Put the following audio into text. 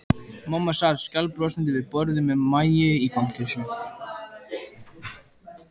Mamma sat skælbrosandi við borðið með Maju í fanginu.